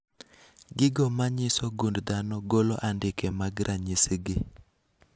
Gigo manyiso gund dhano golo andike mag ranyisi gi